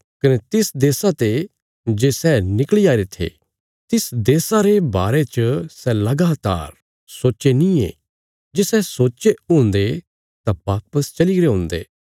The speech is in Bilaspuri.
कने तिस देशा ते जे सै निकल़ी आईरे थे तिस देशा रे बारे च सै लगातार सोच्चे नींये जे सै सोच्चे हुन्दे तां वापस चलीगरे हुन्दे